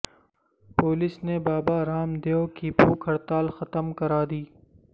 police نے Baba Ramdev کی بھوک ہڑتال ختم کرا دی